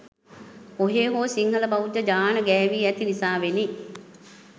කොහේ හෝ සිංහල බෞද්ධ ජාන ගෑවී ඇති නිසාවෙනි